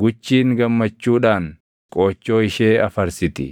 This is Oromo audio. “Guchiin gammachuudhaan qoochoo ishee afarsiti;